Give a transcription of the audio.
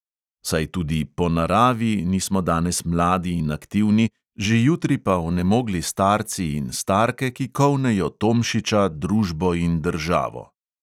Saj tudi "po naravi" nismo danes mladi in aktivni, že jutri pa onemogli starci in starke, ki kolnejo tomšiča, družbo in državo.